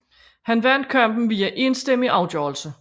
Han vandt kampen via enstemmig afgørelse